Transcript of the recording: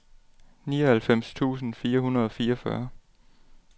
nioghalvfems tusind fire hundrede og fireogfyrre